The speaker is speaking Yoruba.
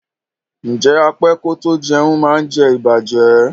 Ǹjẹ́ á pẹ kò tó jẹ̀un má ǹ jẹ̀ ìbàjẹ́?